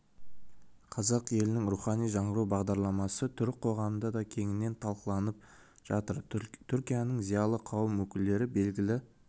қазақ елінің рухани жаңғыру бағдарламасы түрік қоғамында да кеңінен талқыланып жатыр түркияның зиялы қауым өкілдері белгілі